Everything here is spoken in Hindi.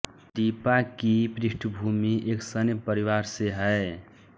दीपा की पृष्ठभूमि एक सैन्य परिवार से है